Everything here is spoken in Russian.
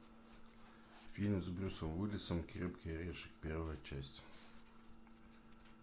фильм с брюсом уиллисом крепкий орешек первая часть